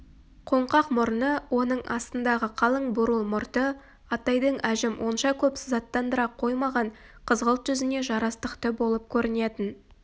қоңқақ мұрны оның астындағы қалың бурыл мұрты атайдың әжім онша көп сызаттандыра қоймаған қызғылт жүзіне жарастықты болып көрінетін